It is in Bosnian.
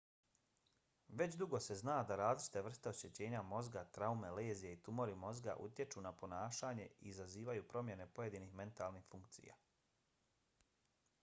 već dugo se zna da različite vrste oštećenja mozga traume lezije i tumori mozga utječu na ponašanje i izazivaju promjene pojedinih mentalnih funkcija